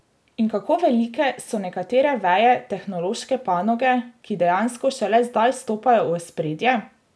In kako velike so nekatere veje tehnološke panoge, ki dejansko šele zdaj stopajo v ospredje?